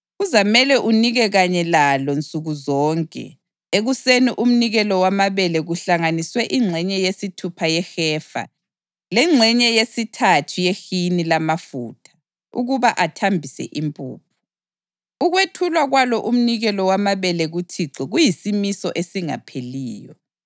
Kuzamele unike kanye lalo nsuku zonke ekuseni umnikelo wamabele kuhlanganiswe ingxenye yesithupha yehefa lengxenye yesithathu yehini lamafutha ukuba athambise impuphu. Ukwethulwa kwalo umnikelo wamabele kuThixo kuyisimiso esingapheliyo.